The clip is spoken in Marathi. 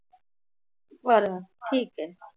बरं ठिक आहे.